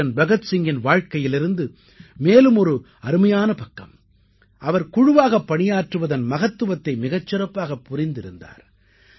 வீரன் பகத்சிங்கின் வாழ்க்கையிலிருந்து மேலும் ஒரு அருமையான பக்கம் அவர் குழுவாகப் பணியாற்றுவதன் மகத்துவத்தை மிகச் சிறப்பாகப் புரிந்திருந்தார்